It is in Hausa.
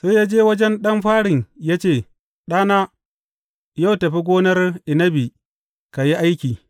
Sai ya je wajen ɗan farin ya ce, Ɗana, yau tafi gonar inabi ka yi aiki.’